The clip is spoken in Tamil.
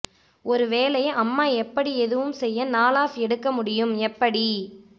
ஒரு வேலை அம்மா எப்படி எதுவும் செய்ய நாள் ஆஃப் எடுக்க முடியும் எப்படி